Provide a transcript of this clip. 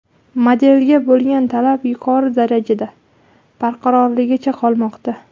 Modelga bo‘lgan talab yuqori darajada barqarorligicha qolmoqda.